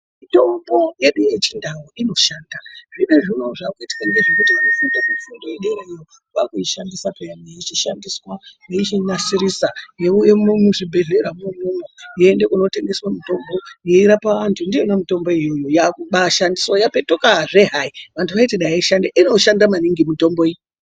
Mitombo yedu yechindau inoshanda. Zvinezvi unowu zvakuitikika ngezvekuti vanofunda mifundo yedera vakuishandisa peyani yeichinasiriswa yeiuyemwo muzvibhedhleramwo umwomwo. Yoende koorape antu. Ndiyona mitombo iyoyo yakubaashandiswa yapetukazve hayi. Vanhu vanoti dayi aishandi , inoshanda maningi mitombo iyi.